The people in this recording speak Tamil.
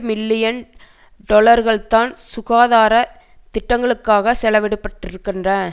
மில்லியன் டொலர்கள்தான் சுகாதார திட்டங்களுக்காக செலவிடப்பட்டிருக்கின்ற